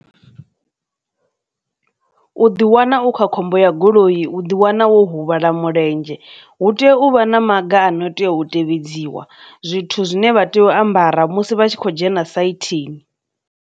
U ḓi wana u kha khombo ya goloi u ḓi wana wo huvhala mulenzhe, hu teya uvha na maga ano tea u tea vhidziwa zwithu zwine vha tea u ambara musi vha tshi khou dzhena saithini.